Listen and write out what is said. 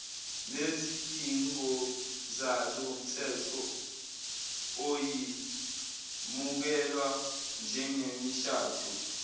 nezidingozalomthetho iyemukelwa njengemishado